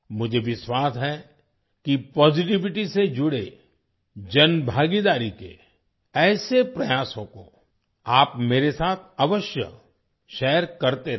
मुझे विश्वास है कि पॉजिटिविटी से जुड़े जनभागीदारी के ऐसे प्रयासों को आप मेरे साथ अवश्य शेयर करते रहें